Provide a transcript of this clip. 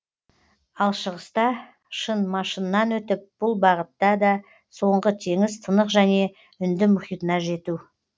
ал шығыста шын машыннан өтіп бұл бағытта да соңғы теңіз тынық және үнді мұхитына жету